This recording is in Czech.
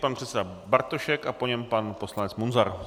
Pan předseda Bartošek a po něm pan poslanec Munzar.